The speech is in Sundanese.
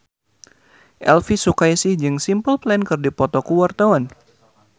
Elvy Sukaesih jeung Simple Plan keur dipoto ku wartawan